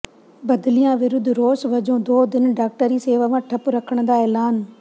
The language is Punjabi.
ਬਦਲੀਆਂ ਵਿਰੁੱਧ ਰੋਸ ਵਜੋਂ ਦੋ ਦਿਨ ਡਾਕਟਰੀ ਸੇਵਾਵਾਂ ਠੱਪ ਰੱਖਣ ਦਾ ਐਲਾਨ